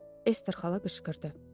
Ester xala qışqırdı.